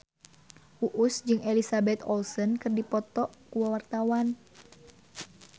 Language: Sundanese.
Uus jeung Elizabeth Olsen keur dipoto ku wartawan